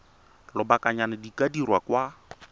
lobakanyana di ka dirwa kwa